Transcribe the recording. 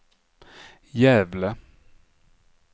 Gävle